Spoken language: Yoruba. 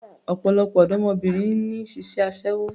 Ọ̀pọ̀lọpọ̀ ọ̀dọ́mọbìnrin ni ń ṣiṣẹ́ aṣẹ́wó